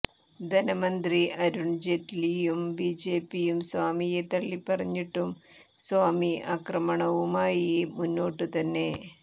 ധനമന്ത്രി അരുണ് ജെയ്റ്റ്ലിയും ബിജെപിയും സ്വാമിയെ തള്ളിപ്പറഞ്ഞിട്ടും സ്വാമി ആക്രമണവുമായി മുന്നോട്ടു തന്നെ